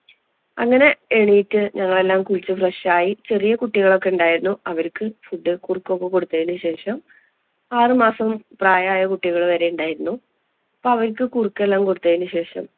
അങ്ങനെ എണ്ണീറ്റ് ഞങ്ങളെല്ലാം കുളിച്ച് fresh ആയി. ചെറിയ കുട്ടികളൊക്കെ ഉണ്ടായിരുന്നു. അവര്ക്ക് food, കുറുക്കും ഒക്കെ കൊടുത്തതിനു ശേഷം ആറുമാസം പ്രായമായ കുട്ടികള്‍ വരെയുണ്ടായിരുന്നു. അപ്പം അവര്‍ക്ക് കുറുക്കെല്ലാം കൊടുത്തതിനു ശേഷം